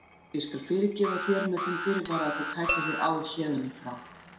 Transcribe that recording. Ég skal fyrirgefa þér með þeim fyrirvara að þú takir þig á héðan í frá.